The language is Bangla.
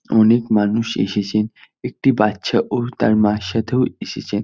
অনেক মানুষ এসেছে একটি বাচ্চা ও তার মার সাথেও এসেছে।